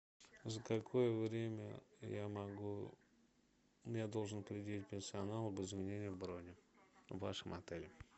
за какое время я могу я должен предупредить персонал об изменении брони в вашем отеле